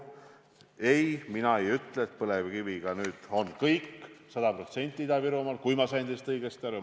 Ei, mina ei ütle, et põlevkiviga on nüüd Ida-Virumaal sada protsenti kõik – kui ma teist õigesti aru sain.